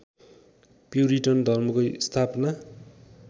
puritan धर्मको स्थापना